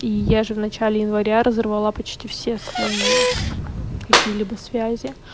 и я же в начале января разорвала почти все свои какие-либо связи